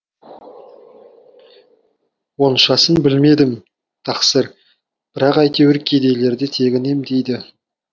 оншасын білмедім тақсыр бірақ әйтеуір кедейлерді тегін емдейді